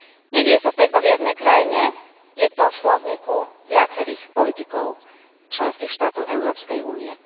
Nedeje sa to iba v jednej krajine, je to v slovníku viacerých politikov členských štátov Európskej únie.